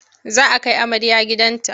Za a kai amarya gidan ta.